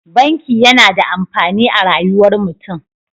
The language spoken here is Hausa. Banki yAna da amfani a rayuwar mutun